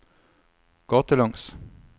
gatelangs